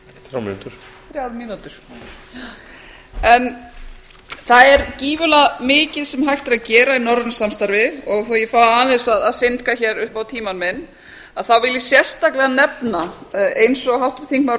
þrjár mínútur þrjár mínútur já það er gífurlega mikið sem hægt er að gera í norrænu samstarfi og þó að ég fái aðeins að syndga hér upp á tímann minn vil ég sérstaklega nefna eins og háttvirtur þingmaður